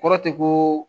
Kɔrɔ tɛ ko